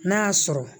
N'a y'a sɔrɔ